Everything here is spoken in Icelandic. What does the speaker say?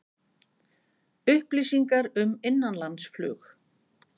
Upplýsingar um innanlandsflug